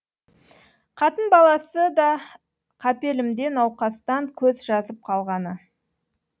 қатын баласы да қапелімде науқастан көз жазып қалғаны